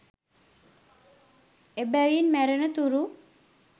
එබැවින් මැරෙන තුරු